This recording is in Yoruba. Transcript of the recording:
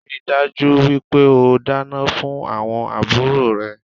Ríi dájú wípé o dáná fún àwon àbúrò rẹ